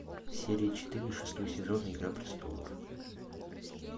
серия четыре шестой сезон игра престолов